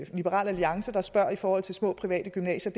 liberal alliance der spørger i forhold til små private gymnasier